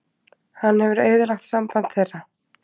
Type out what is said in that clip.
Hann hefur eyðilagt samband þeirra.